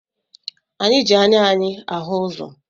Anyị ji anya anyị ahụ ụzọ